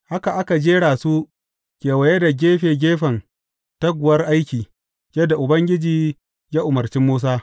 Haka aka jera su kewaye da gefe gefen taguwar aiki, yadda Ubangiji ya umarci Musa.